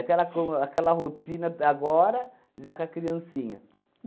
aquela com aquela rotina agora, já com a criancinha.